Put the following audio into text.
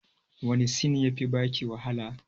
Wani sin ya fi baki wahala?